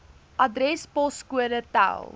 adres poskode tel